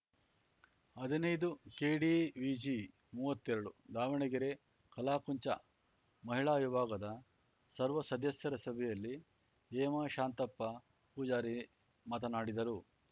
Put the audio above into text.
ಹದಿನೈದುಕೆಡಿವಿಜಿಮುವ್ವತ್ತೆರಡು ದಾವಣಗೆರೆ ಕಲಾಕುಂಚ ಮಹಿಳಾ ವಿಭಾಗದ ಸರ್ವ ಸದಸ್ಯರ ಸಭೆಯಲ್ಲಿ ಹೇಮಾ ಶಾಂತಪ್ಪ ಪೂಜಾರಿ ಮಾತನಾಡಿದರು